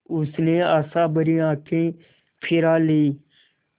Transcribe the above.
उसने आशाभरी आँखें फिरा लीं